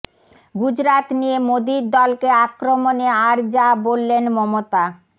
গুজরাত নিয়ে মোদীর দলকে আক্রমণে আর যা বললেন মমতা